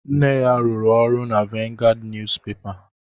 Nne ya rụrụ ọrụ na Vanguard Niyuzupepa